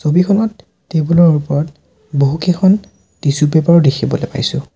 ছবিখনত টেবুল ৰ ওপৰত বহুকেইখন টিচু পেপাৰ ও দেখিবলৈ পাইছোঁ।